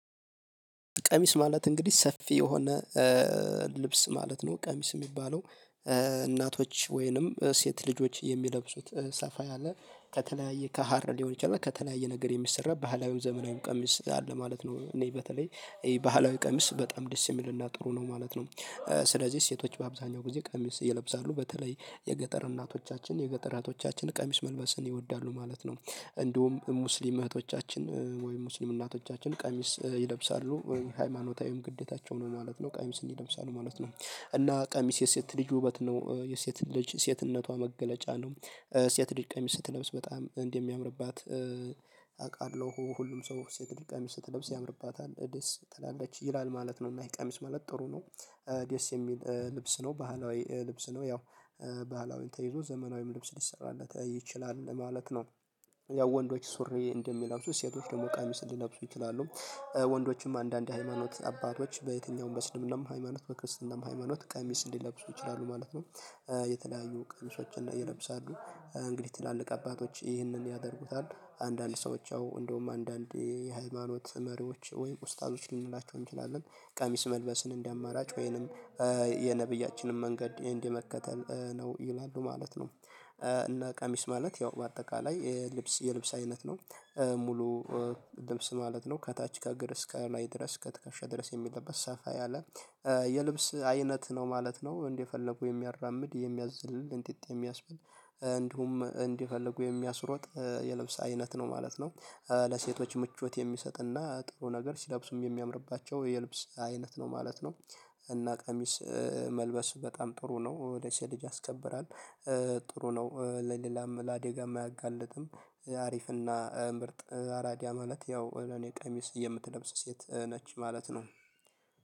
ቀሚስ ማለት እንግዲህ ሰፊ የሆነ ልብስ ማለት ነው ቀሚስ የሚባለው እናቶች ወይንም ሴት ልጆች የሚለብሱት ሰፋ ያለ ከተለያየ ከሀር ሊሆን ይችላል ከተለያየ ነገር የሚሰራ ባህላዊው ዘመናዊው ቀሚስ አለ ማለት ነው። እኔ በተለይ ይሄ ባህላዊ ቀሚስ በጣም ዲሲሚል እና ጥሩ ነው ማለት ነው። ስለዚህ ሴቶች በአብዛኛው ጊዜ ቀሚስ ይለብሳሉ በተለይ የገጠር እናቶቻችን የገጠራቶቻችን ቀሚስ መልበስን ይወዳሉ ማለት ነው። እንደውም ሙስሊም እህቶቻችን ወይም ሙስሊም እናቶቻችን ቀሚስ ይለብሳሉ ወይም ሃይማኖታዊም ግዴታቸው ነው ማለት ነው ቀሚስን ይለብሳል ማለት ነው። እና ቃሚስ የሴት ልጅ ውበት ነው የሴት ልጅ ሴትነቷ መገለጫ ነው። ሴት ልጅ ቀሚስ ስትለብስ በጣም እንደሚያምርባት አውቃለሁ ሁሉም ሰው ሴት ድልቃ ሚስት ለብስ ያምርባታል ደስ ትላለች ይላል ማለት ነው። እና ይሄ ቀሚስ ማለት ጥሩ ነው። ደስ የሚል ልብስ ነው ባህላዊ ልብስ ነው ያው። ባህላዊን ተይዞ ዘመናዊም ልብስ ሊሰራለት ይችላል ማለት ነው። ያው ወንዶች ሱሪ እንደሚለብሱት ሴቶች ደግሞ ቀሚስ ሊለብሱ ይችላሉ። ወንዶችም አንዳንድ ሃይማኖት አባቶች በየትኛውም በሙስሊሙም ሃይማኖት በክርስትናም ሃይማኖት ቀሚስ እንዲለብሱ ይችላሉ ማለት ነው። የተለያዩ ቀሚሶችን ላይ ይለብሳሉ እንግዲህ ትላልቅ አባቶች ይህንን ያደርጉታል። አንዳንድ ሰዎች አዎ እንደውም አንዳንድ የሃይማኖት መሪዎች ወይም ኡስታዞች ልንላቸው እንችላለን። ቀሚስ መልበስን እንደ አማራጭ ወይንም የነብያችንን መንገድ እንደ መከተል ነው ይላሉ ማለት ነው። እና ቀሚስ ማለት ያው በአጠቃላይ የልብስ የልብስ አይነት ነው። ሙሉ ልብስ ማለት ነው ከታች ከግር እስከ ላይ ድረስ ከትከሻ ድረስ የሚለበት ሰፋ ያለ የልብስ አይነት ነው ማለት ነው። እንዴት የፈለጉ የሚያራምድ የሚያዘልልን እንጥጥ የሚያስብል። እንዲሁም እንዲፈልጉ የሚያስሮጥ የለብስ አይነት ነው ማለት ነው። ለሴቶች ምቾት የሚሰጥና ጥሩ ነገር ሲለብሱም የሚያምርባቸው የልብስ አይነት ነው ማለት ነው። እና ቀሚስ መልበስ በጣም ጥሩ ነው ወደ ሴቶች ያስከብራል። ጥሩ ነው ለሌላም ለአዴጋም አያጋልጥም። አሪፍና ምርጥ አራዳ ማለት ያው ወይ እኔ ቀሚስ የምትለብስ ሴት ነች ማለት ነው።